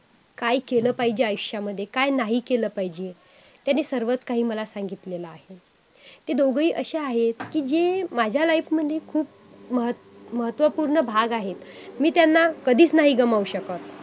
अ आणि ज्यामुळे काय होत की पूर्ण विश्व सुद्धा त्याचा आपल आपण जेव्हा ध्यान करतो तेव्हा पूर्ण विश्वालासुद्धा त्याचा लाभ घ्यायला होतो.